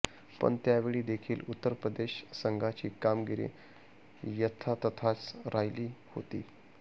पण त्यावेळी देखील उत्तरप्रदेश संघाची कामगिरी यथातथाच राहिली होती